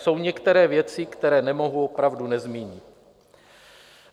Jsou některé věci, které nemohu opravdu nezmínit.